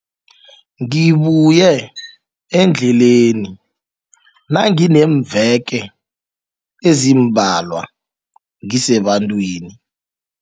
Ngibuye endleleni nangineemveke ezimbalwa ngisebantwini.